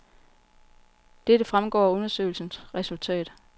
Dette fremgår af undersøgelsens resultat.